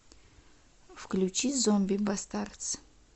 включи зомби бастардс